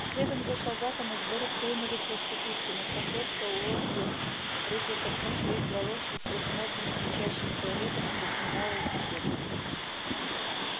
следом за солдатами в город хлынули проститутки но красотка уотлинг рыжей копной своих волос и сверхмодными кричащими туалетами затмевала их всех